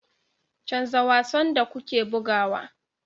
Canza wasan da kuke bugawa